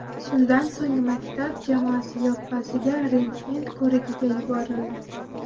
Shundan so‘ng maktab jamoasi yoppasiga rentgen ko‘rigiga yuborildi.